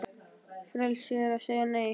Frelsi er að segja Nei!